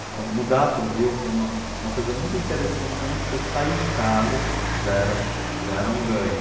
Então, mudar para o Rio foi uma uma coisa muito interessante para mim, porque eu saí de casa, já era já era um ganho.